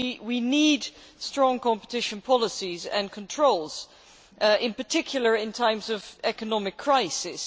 We need strong competition policies and controls, in particular in times of economic crisis.